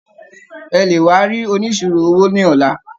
Ẹ lè wá rí oníṣirò owó ní ọ̀la.